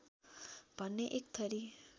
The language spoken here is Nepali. भन्ने एक थरी